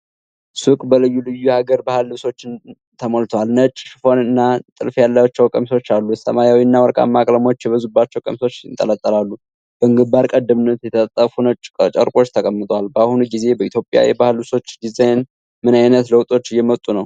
ሱቁ በልዩ ልዩ የሐገር ባህል ልብሶች ተሞልቷል። ነጭ ሽፎንና ጥልፍ ያላቸው ቀሚሶች አሉ። ሰማያዊና ወርቃማ ቀለሞች የበዙባቸው ቀሚሶች ይንጠለጠላሉ። በግንባር ቀደምትነት የተጣጠፉ ነጭ ጨርቆች ተቀምጠዋል። በአሁኑ ጊዜ በኢትዮጵያ የባሕል ልብሶች ዲዛይን ምን ዓይነት ለውጦች እየመጡ ነው?